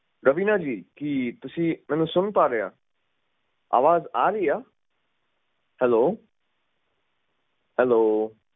ਰਵੀਨਾ ਜੀ ਕੀ ਤੁਸੀਂ ਮੈਨੂੰ ਸੁਨ ਪਾ ਰਹੇ ਆ ਆਵਾਜ਼ ਆ ਰਹੀ ਆ ਹੈਲੋ ਹੈਲੋ